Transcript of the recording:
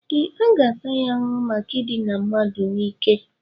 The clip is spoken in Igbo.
Ee, a ga-ata ya ahụhụ maka idina mmadụ n'ike